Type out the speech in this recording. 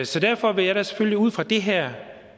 så derfor vil jeg da selvfølgelig ud fra det her